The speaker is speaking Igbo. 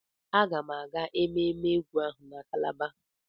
Aga m aga ememme egwu ahụ na Kalaba.